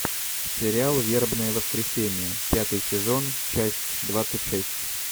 сериал вербное воскресение пятый сезон часть двадцать шесть